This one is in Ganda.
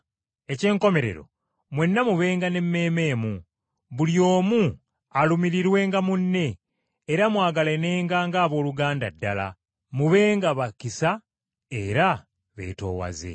Eky’enkomerero, mwenna mubenga n’emmeeme emu, buli omu alumirirwenga munne, era mwagalanenga ng’abooluganda ddala, mubenga ba kisa era beetoowaze.